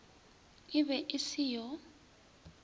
e be e se yo